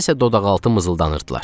Nəysə dodaqaltı mızıldanırdılar.